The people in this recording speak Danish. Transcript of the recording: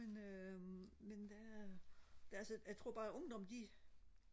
men øh men der er det er altså jeg tror bare ungdommen de